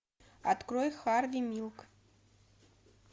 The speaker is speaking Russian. открой харви милк